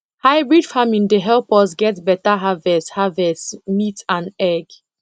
hybrid farming dey help us get better harvest harvest meat and egg